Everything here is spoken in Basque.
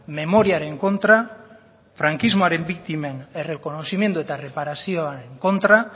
memoriaren kontra frankismoaren biktimen errekonozimendu eta erreparazioaren kontra